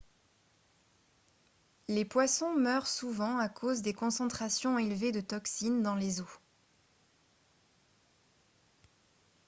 les poissons meurent souvent à cause des concentrations élevées de toxines dans les eaux